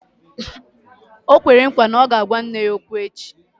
O kwere nkwa na ya ga-agwa nne ya okwu echi